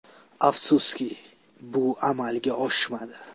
Afsuski, bu amalga oshmadi.